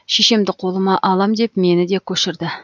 шешемді қолыма алам деп мені де көшірді